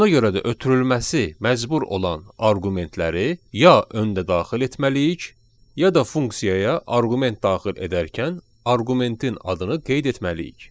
Ona görə də ötürülməsi məcbur olan arqumentləri ya öndə daxil etməliyik, ya da funksiyaya arqument daxil edərkən arqumentin adını qeyd etməliyik.